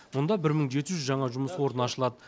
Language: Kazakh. мұнда бір мың жеті жүз жаңа жұмыс орны ашылады